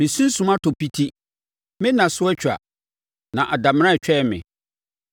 Me sunsum atɔ piti, me nna so atwa, na damena retwɛn me.